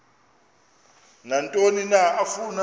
nantoni na afuna